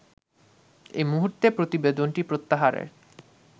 এমুহুর্তে প্রতিবেদনটি প্রত্যাহারের